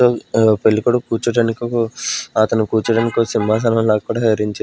ఆ పెళ్లికోడుకు కూర్చోవడాని ఒక అతను కూర్చోవడానికి ఒ సింహాసనం లాగా కూడా అరేంజ్ చే--